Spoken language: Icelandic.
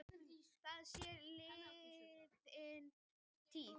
Það sé liðin tíð